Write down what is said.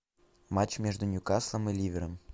матч между ньюкаслом и ливером